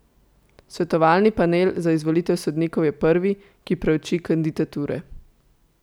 Svetovalni panel za izvolitev sodnikov je prvi, ki preuči kandidature.